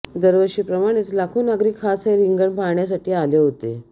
दरवषीप्रमाणेच लाखो नागरिक खास हे रिंगण पाहण्यासाठी आले होते